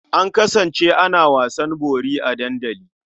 An kasance ana wasan bori a dandali.